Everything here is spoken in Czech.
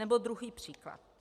Nebo druhý příklad.